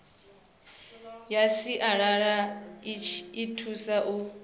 ya sialala i thusa u